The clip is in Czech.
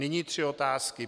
Nyní tři otázky.